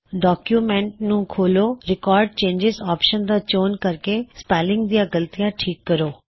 document ਨੂੰ ਖੋੱਲ੍ਹੋ record changes option ਦਾ ਚੋਣ ਕਰ ਕੇ ਸਪੈੱਲਿੰਗ ਦਿਆਂ ਗਲਤੀਆਂ ਠੀਕ ਕਰੋ